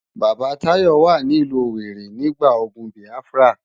Baba Tayo wá ni ilù Owéri nigbá ógùn Biáfirá